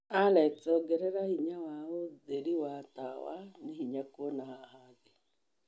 Alexa ongerera hinya wa ũtheri wa tawa nĩ hinya kuona haha thĩĩ